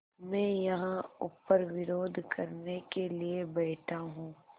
मैं यहाँ ऊपर विरोध करने के लिए बैठा हूँ